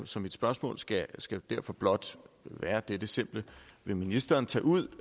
så mit spørgsmål skal skal derfor blot være dette simple vil ministeren tage ud